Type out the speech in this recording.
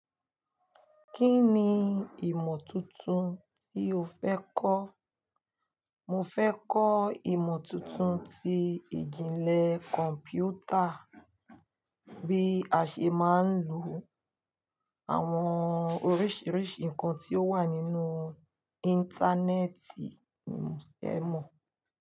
Kí ni ìmọ̀ tuntun tí o fẹ́ kọ́? Mo fẹ́ kọ́ ìmọ̀ tuntun tí ìjìnlẹ̀ kọ̀m̀pútà bí a ṣe máa ń lo àwọn oríṣiríṣi nǹkan tí ó wà nínú Íńtánẹ́ẹ̀tì ni mo fẹ́ mọ̀